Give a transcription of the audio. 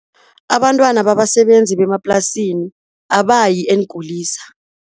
Abantwana babasebenzi bemaplasini abayi eenkulisa.